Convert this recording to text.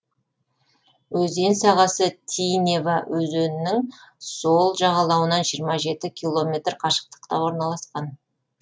өзен сағасы тинева өзенінің сол жағалауынан жиырма жеті километр қашықтықта орналасқан